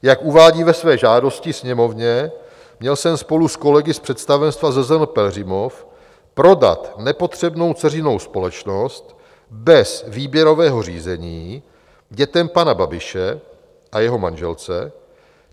Jak uvádí ve své žádosti Sněmovně, měl jsem spolu s kolegy z představenstva ZZN Pelhřimov prodat nepotřebnou dceřinou společnost bez výběrového řízení dětem pana Babiše a jeho manželce.